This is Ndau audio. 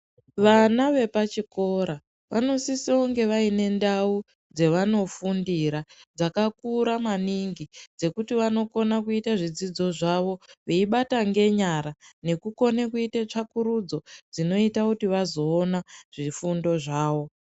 Vana vepachikora vanosisonge vaine ndau dzavanofundira dzakakura maningi, dzekuti vanokona kuite zvidzidzo zvavo veibata ngenyara nekukone kuite tsvakurudzo dzinoita kuti vazoona zvifundo zvawo.